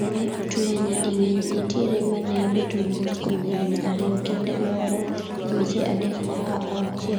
Nene otweya nyading'eny, nitiere maneabet mabuskuom higni ariyo, kinde moro dweche adek nyaka auchiel.